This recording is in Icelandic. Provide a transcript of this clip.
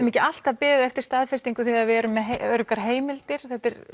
ekki alltaf beðið eftir staðfestingu þegar við erum með öruggar heimildir